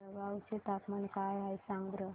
जळगाव चे तापमान काय आहे सांगा बरं